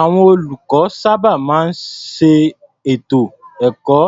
Àwọn olùkọ́ sábà máa ń ṣe ètò ẹ̀kọ́